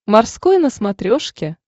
морской на смотрешке